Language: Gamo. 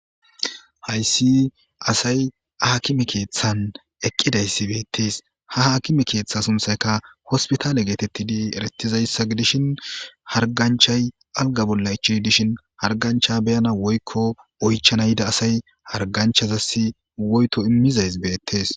hayssi asay hakime keeththan eqqidayssi beettees ha haakime keeththa sunthayka hospitaale geetettidi erettizayssa gidishin harganchay alga bolla ichid dishin hargancha beyana woykko oychana yida asay harganchazasi woyto immizays beettees